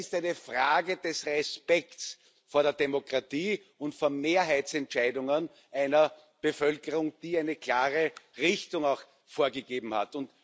Es ist eine Frage des Respekts vor der Demokratie und vor Mehrheitsentscheidungen einer Bevölkerung, die eine klare Richtung vorgegeben hat.